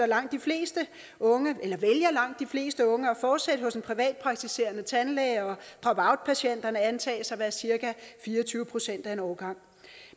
langt de fleste unge fleste unge at fortsætte hos en privatpraktiserende tandlæge og pop out patienterne antages at være cirka fire og tyve procent af en årgang